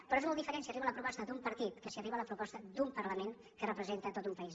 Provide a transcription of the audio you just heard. però és molt diferent si arriba la proposta d’un partit que si arriba la proposta d’un parlament que representat tot un país